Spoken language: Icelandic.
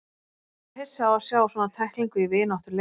Ég var hissa á að sjá svona tæklingu í vináttuleik.